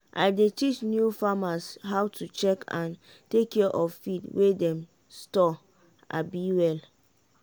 i dey teach new farmers how to check and take care of feed wey dem store um well.